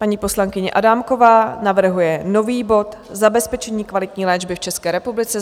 Paní poslankyně Adámková navrhuje nový bod Zabezpečení kvalitní léčby v České republice.